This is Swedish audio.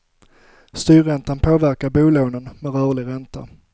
Styrräntan påverkar bolånen med rörlig ränta.